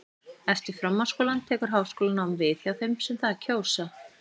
eftir framhaldsskólann tekur háskólanám við hjá þeim sem það kjósa